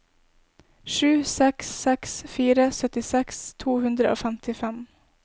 sju seks seks fire syttiseks to hundre og femtifem